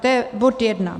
To je bod jedna.